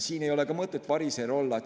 Siin ei ole ka mõtet variser olla.